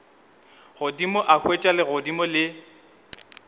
godimo a hwetša legodimo le